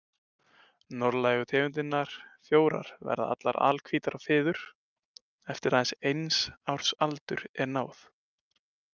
Norðlægu tegundirnar fjórar verða allar alhvítar á fiður eftir að eins árs aldri er náð.